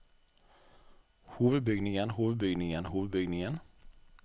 hovedbygningen hovedbygningen hovedbygningen